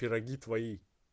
пироги твои